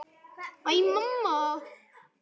Æ, mamma!